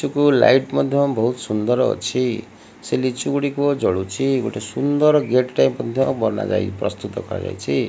ଗଛ କୁ ଲାଇଟ ମଧ୍ୟ ବହୁତ ସୁନ୍ଦର ଅଛି। ସେ ଲିଚୁ ଗୁଡ଼ିକ ଜଳୁଛି। ଗୋଟେ ସୁନ୍ଦର ଗେଟ ଟାଇପ ମଧ୍ୟ ବନା ଯାଇ ପ୍ରସ୍ତୁତ କରାଯାଇଛି।